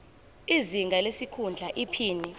izinga lesikhundla iphini